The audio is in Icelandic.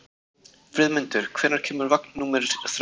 Friðmundur, hvenær kemur vagn númer þrettán?